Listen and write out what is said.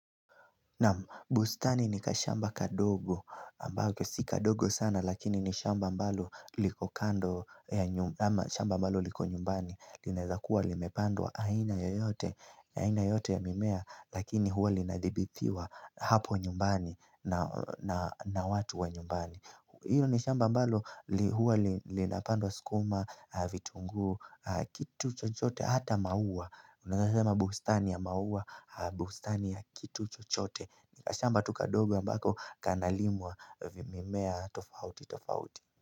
Naam bustani ni kashamba kadogo ambako si kadogo sana lakini ni shamba ambalo liko ambalo liko nyumbani. Linaeza kuwa limepandwa aina yoyote ya mimea lakini huwa linadhibithiwa hapo nyumbani na watu wa nyumbani. Hiyo ni shamba ambalo huwa linapandwa sukuma, vitunguu, kitu chochote hata maua. Unaweza sema bustani ya maua, bustani ya kitu chochote. Ni kashamba tu kadogo ambako kanalimwa vimimea tofauti tofauti.